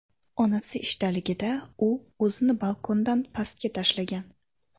Onasi ishdaligida, u o‘zini balkondan pastga tashlagan.